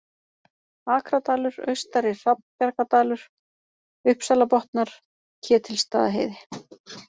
Akradalur, Austari-Hrafnbjargadalur, Uppsalabotnar, Ketilsstaðaheiði